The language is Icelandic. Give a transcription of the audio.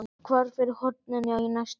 Hvarf fyrir horn inn í næstu götu.